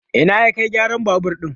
Ina ya Kai gyaran babur ɗin?